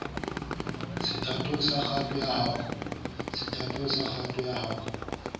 sethatong sa kgato ya ho